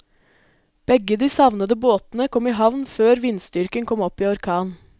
Begge de savnede båtene kom i havn før vindstyrken kom opp i orkan.